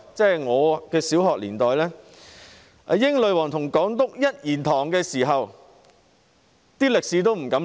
在我的小學年代，英女皇與港督一言堂，也不敢在歷史方面亂說。